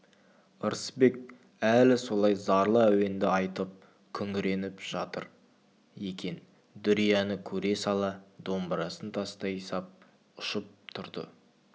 ырысбек әлі солай зарлы әуенді айтып күңіреніп жатыр екен дүрияны көре сала домбырасын тастай сап ұшып тұрды